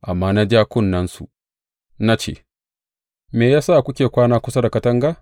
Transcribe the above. Amma na ja kunnensu na ce, Me ya sa kuke kwana kusa da katanga?